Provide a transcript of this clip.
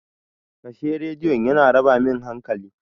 Kashe Rediyon! yana raba min hankali.